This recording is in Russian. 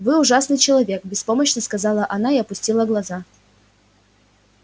вы ужасный человек беспомощно сказала она и опустила глаза